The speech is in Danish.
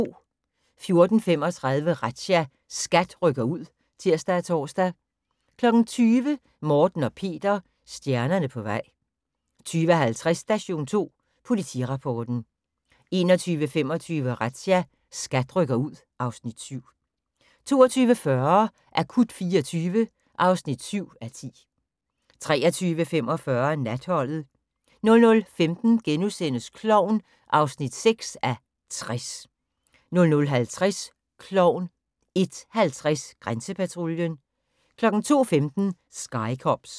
14:35: Razzia – SKAT rykker ud (tir og tor) 20:00: Morten og Peter – stjernerne på vej 20:50: Station 2 Politirapporten 21:25: Razzia – SKAT rykker ud (Afs. 7) 22:40: Akut 24 (7:10) 23:45: Natholdet 00:15: Klovn (6:60)* 00:50: Klovn 01:50: Grænsepatruljen 02:15: Sky Cops